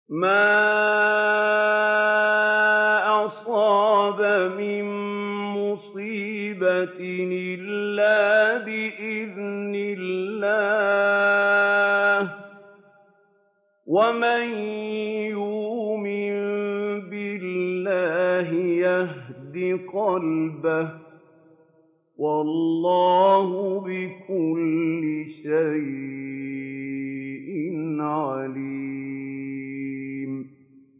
مَا أَصَابَ مِن مُّصِيبَةٍ إِلَّا بِإِذْنِ اللَّهِ ۗ وَمَن يُؤْمِن بِاللَّهِ يَهْدِ قَلْبَهُ ۚ وَاللَّهُ بِكُلِّ شَيْءٍ عَلِيمٌ